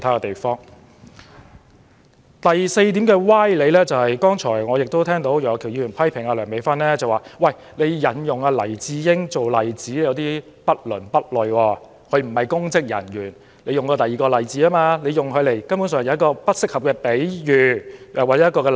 第四個歪理是楊岳橋議員批評梁美芬議員引用黎智英一案作為例子是不倫不類，因為黎先生並非公職人員，她應該引用其他例子，而非作出不適當的比喻。